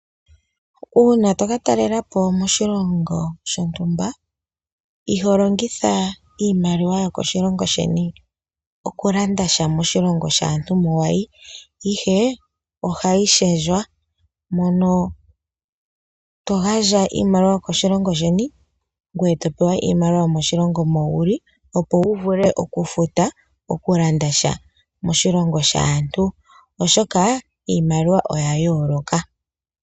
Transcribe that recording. Uuna toka talelapo koshilongo shontumba, iho longitha iimaliwa yokoshilongo sheni okulanda sha moshilongo shaantu moka wayi, ihe ohayi shendjwa moka to gandja iimalilwa yokoshilongo sheni, ngoye to pewa iimaliwa yomoshilongo moka wuli, opo wu vule okufuta nokulanda sha moshilongo shaantu, oshoka iimaliwa oya yooloka.